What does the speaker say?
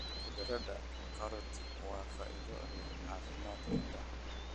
Khudradda karoti waa faa'iido leh caafimaadka indhaha.